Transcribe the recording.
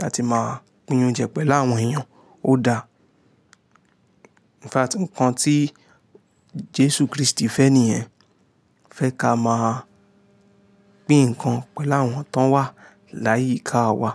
láti máa pín oúnjẹ pẹ̀lú àwọn èèyàn. Ó dáa. Infact ǹkan tí Jésù Kristi fẹ́ níyẹn, fẹ́ ká máa pín ǹkan pẹ̀lú àwọn tón wà láyíká wà.